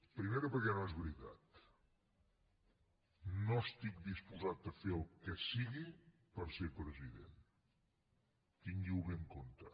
primera perquè no es veritat no estic disposat a fer el que sigui per ser president tinguiho bé en compte